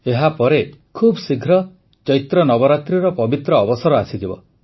ଏହାପରେ ଖୁବ୍ଶୀଘ୍ର ଚୈତ୍ର ନବରାତ୍ରିର ପବିତ୍ର ଅବସର ଆସିଯିବ